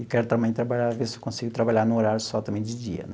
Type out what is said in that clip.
E quero também trabalhar ver se eu consigo trabalhar num horário só também de dia.